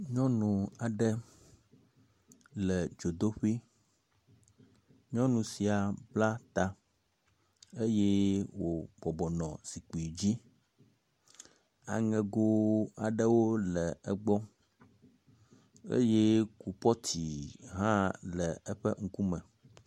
Nyɔnu aɖe le dzodoƒui. Nyɔnu sia bla ta eye wòbɔbɔ nɔ zikpui dzi. Aŋego aɖewo le egbɔ eye kubɔtu hã le eƒe ŋkume.